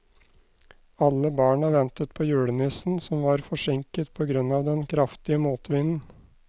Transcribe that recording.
Alle barna ventet på julenissen, som var forsinket på grunn av den kraftige motvinden.